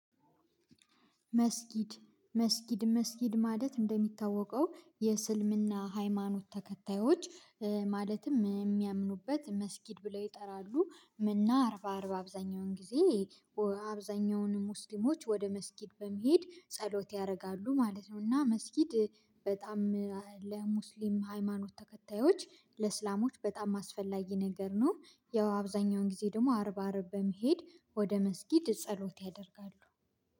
መስጊድ መስጊድ መስጊድ ማለት እንደሚታወቀው የስልምና ሃይማኖት ተከታዮች ማለትም የሚያምኑበት መስጊድ ብለው ይጠራሉ ምና አርባ አርባ አብዛኛውን ጊዜ አብዛኛውን ሙስሊሞች ወደ መስጊድ በመሄድ ጸሎት ያደርጋሉ ማለት ነው። እና መስጊድ በጣም ለሙስሊም ሃይማኖት ተከታዮች ለእስላሞች በጣም አስፈላጊ ነገር ነው። ያው አብዛኛውን ጊዜ ደግሞ አርብ አርብ በመሄድ ወደ መስጊድ ጸሎት ያደርጋሉ።